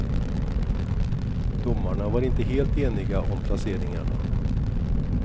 Domarna var inte helt eniga om placeringarna.